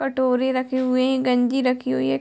कटोरे रखे हुए हैं गंजी रखी हुई है।